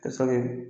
Ka sɔrɔ